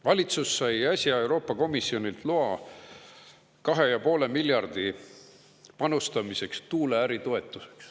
Valitsus sai äsja Euroopa Komisjonilt loa 2,5 miljardi panustamiseks tuuleäri toetuseks.